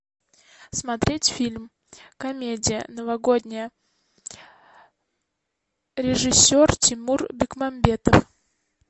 смотреть фильм комедия новогодняя режиссер тимур бекмамбетов